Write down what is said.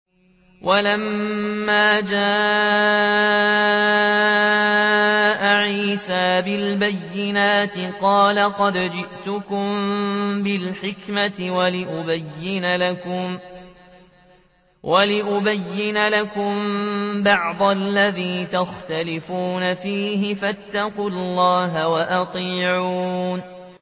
وَلَمَّا جَاءَ عِيسَىٰ بِالْبَيِّنَاتِ قَالَ قَدْ جِئْتُكُم بِالْحِكْمَةِ وَلِأُبَيِّنَ لَكُم بَعْضَ الَّذِي تَخْتَلِفُونَ فِيهِ ۖ فَاتَّقُوا اللَّهَ وَأَطِيعُونِ